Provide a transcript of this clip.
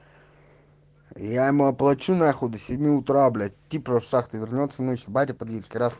я ему оплачу нахуй до семи утра блять типа с шахты вернётся ещё батя подъедет с кирас